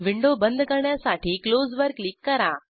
window बंद करण्यासाठी close वर क्लिक करा